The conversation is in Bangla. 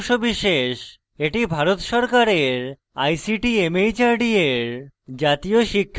এটি ভারত সরকারের ict mhrd এর জাতীয় সাক্ষরতা mission দ্বারা সমর্থিত